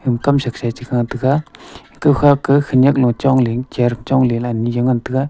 kamsa sa e chikha tega kawkha ka khawnek chongley chair chong ley ani jaw ngan tega.